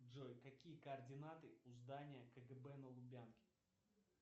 джой какие координаты у здания кгб на лубянке